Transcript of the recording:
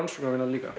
rannsóknarvinna líka